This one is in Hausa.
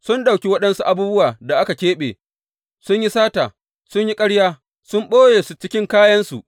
Sun ɗauki waɗansu abubuwan da aka keɓe; sun yi sata, sun yi ƙarya, sun ɓoye su cikin kayansu.